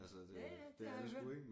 Ja ja det har jeg hørt